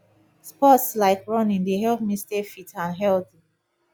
sports like running dey help me stay fit and healthy